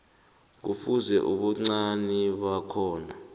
kufuze ubuncani bakhona